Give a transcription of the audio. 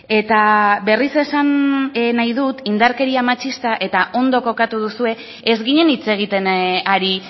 eta berriz esan nahi dut indarkeria matxista eta ondo kokatu duzue ez ginen hitz egiten ari